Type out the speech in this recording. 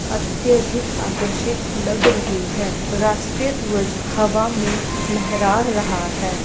अत्यधिक आकर्षित लग रही है राष्टीय ध्वज हवा में लहरा रहा है।